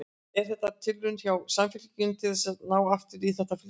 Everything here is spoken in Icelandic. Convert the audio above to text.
Er þetta tilraun hjá Samfylkingunni til þess að ná aftur í þetta fylgi?